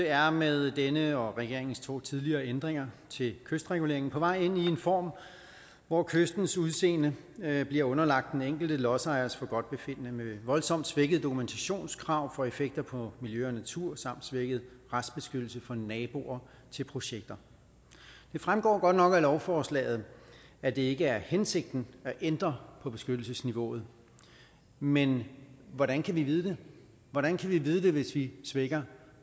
er med denne og regeringens to tidligere ændringer til kystregulering på vej ind i en form hvor kystens udseende bliver underlagt den enkelte lodsejers forgodtbefindende med voldsomt svækkede dokumentationskrav for effekter på miljø og natur samt svækket retsbeskyttelse for naboer til projekter det fremgår godt nok af lovforslaget at det ikke er hensigten at ændre på beskyttelsesniveauet men hvordan kan vi vide det hvordan kan vi vide det hvis vi svækker